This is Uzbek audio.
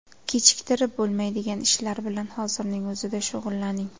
Kechiktirib bo‘lmaydigan ishlar bilan hozirning o‘zida shug‘ullaning.